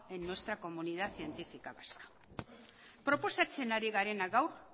en nuestra comunidad científica vasca proposatzen ari garena gaur